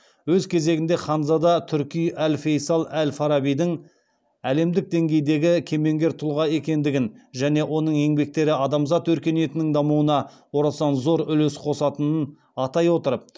өз кезегінде ханзада турки әл фейсал әл фарабидің әлемдік деңгейдегі кемеңгер тұлға екендігін және оның еңбектері адамзат өркениетінің дамуына орасан зор үлес қосатынын атай отырып